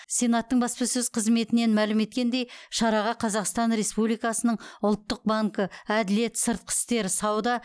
сенаттың баспасөз қызметінен мәлім еткендей шараға қазақстан республикасының ұлттық банкі әділет сыртқы істер сауда